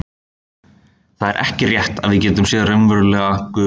það er ekki rétt að við getum séð raunverulega gufu